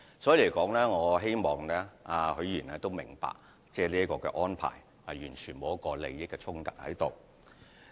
所以，我希望許議員明白，這樣的安排完全不存在個人利益衝突。